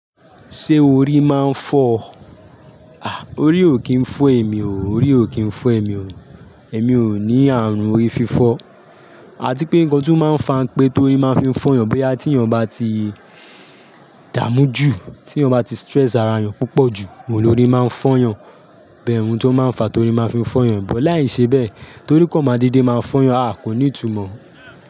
Ṣé orí máa ń fọ́? À, orí ò kí ń fọ́ èmi o. Orí ò kí ń fọ́ èmi o. Èmi ò ní ààrùn orí fífọ́. Ati pé nǹkan tó máa ń fa n pé torí máa ń fi fọ́ yàn bóyá tí èèyàn bá ti dààmú jù, tí èèyàn bá ti stress ara rẹ̀ púpọ̀ jù, òhun ni orí máa ń fọ́yàn. Bẹ́ẹ̀ ntí ó máa ń fa torí máa ń fọ́yàn. Ṣùgbọ́n láìṣe bẹ́ẹ̀ torí kàn máa deedé máa fọ́ yàn, a kò ní ìtumọ̀.